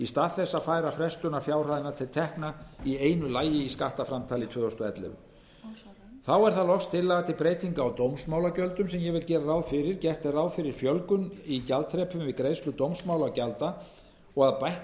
stað þess að færa frestunarfjárhæðina til tekna í einu lagi í skattframtali tvö þúsund og ellefu þá er loks tillaga til breytinga á dómsmálagjöldum sem ég vil gera grein fyrir gert er ráð fyrir fjölgun í gjaldaþrepum við greiðslu dómsmálagjalda og að bætt